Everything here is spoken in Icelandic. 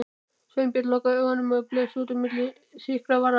Sveinbjörn lokaði augunum og blés út á milli þykkra varanna.